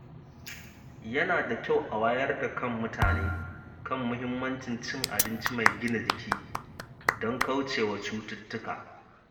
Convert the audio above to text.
Yana da kyau a wayar da kan mutane kan muhimmancin cin abinci mai gina jiki don kaucewa cututtuka.